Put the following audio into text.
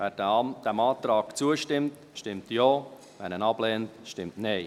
Wer diesem Antrag zustimmt, stimmt Ja, wer diesen ablehnt, stimmt Nein.